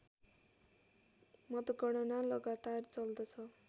मतगणना लगातार चल्दछ